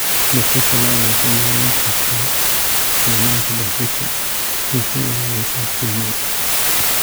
Dhuxusha lo'da waxay yarayn kartaa isticmaalka dhuxusha, waxay ilaalisaa kaymaha.